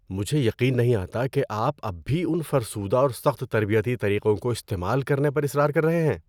مجھے یقین نہیں آتا کہ آپ اب بھی ان فرسودہ اور سخت تربیتی طریقوں کو استعمال کرنے پر اصرار کر رہے ہیں!